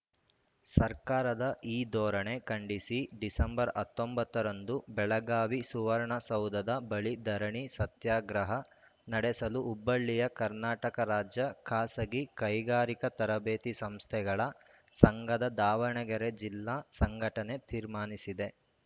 ಸರ್ಕಾರದ ಈ ಧೋರಣೆ ಖಂಡಿಸಿ ಡಿಸೆಂಬರ್ ಹತ್ತೊಂಬತ್ತ ರಂದು ಬೆಳಗಾವಿ ಸುವರ್ಣಸೌಧದ ಬಳಿ ಧರಣಿ ಸತ್ಯಾಗ್ರಹ ನಡೆಸಲು ಹುಬ್ಬಳ್ಳಿಯ ಕರ್ನಾಟಕ ರಾಜ್ಯ ಖಾಸಗಿ ಕೈಗಾರಿಕಾ ತರಬೇತಿ ಸಂಸ್ಥೆಗಳ ಸಂಘದ ದಾವಣಗೆರೆ ಜಿಲ್ಲಾ ಸಂಘಟನೆ ತೀರ್ಮಾನಿಸಿದೆ